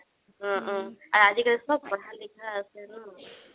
আৰু আজিকালি চ'ব পঢ়া লিখাই আছে ন